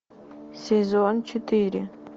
сезон четыре